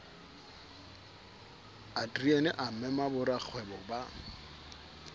adriaan a mema borakgwebo ba